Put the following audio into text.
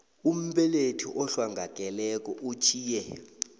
umbelethi ohlongakeleko utjhiye